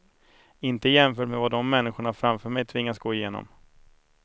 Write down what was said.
Inte jämfört med vad de människorna framför mig tvingas gå igenom.